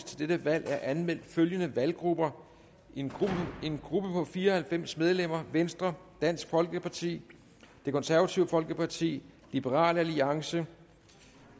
til dette valg er anmeldt følgende valggrupper en gruppe på fire og halvfems medlemmer venstre dansk folkeparti det konservative folkeparti liberal alliance